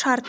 шарт